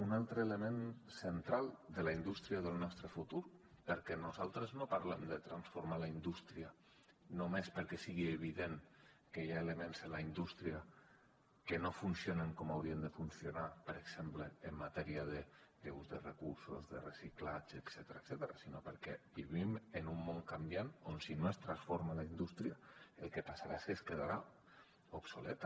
un altre element central de la indústria del nostre futur perquè nosaltres no parlem de transformar la indústria només perquè sigui evident que hi ha elements en la indústria que no funcionen com haurien de funcionar per exemple en matèria d’ús de recursos de reciclatge etcètera sinó perquè vivim en un món canviant on si no es transforma la indústria el que passarà és que es quedarà obsoleta